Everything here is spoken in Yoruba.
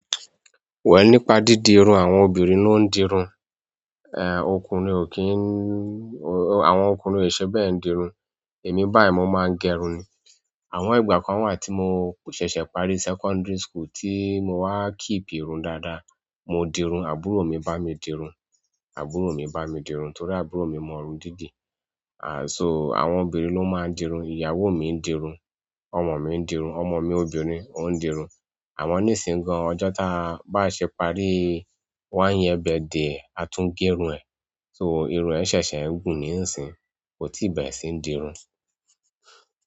Wà nípa dídì irun àwọn obìnrin ló ń dirun, ọkùnrin ò kí ń, àwọn ọkùnrin ò ṣe bẹ́ẹ̀ ń dirun. Èmi báyìí mò máa ń gẹrun ni. Àmọ ìgbà kan wà tí mò ṣẹ̀ṣẹ̀ parí secondary school tí mo wá keep ìrun dáadáa. Mò dirun, àbúrò mi bá mi dirun, àbúrò mi bá mi dirun torí àbúrò mi mọ irun dídì. Ànd so àwọn obìnrin ló máa ń dirun. Ìyàwó mi ń dirun, ọmọ mi ń dirun, ọmọ mi obìnrin ò ń dirun. Àmọ níṣìǹyi gàn ọjọ́ ta bá ṣe parí one year birthday e, a tún gẹrun ẹ̀. So, irun e sese n wu ni nsinyi, ko ti bere si n dirun.